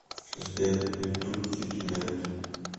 сбер ютуб кид мелт